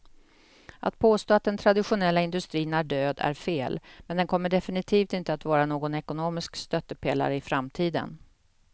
Att påstå att den traditionella industrin är död är fel, men den kommer definitivt inte att vara någon ekonomisk stöttepelare i framtiden.